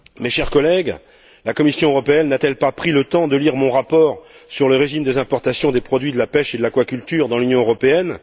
Chers collègues, la Commission européenne n'a t elle pas pris le temps de lire mon rapport sur l'origine des importations des produits de la pêche et de l'aquaculture dans l'Union européenne?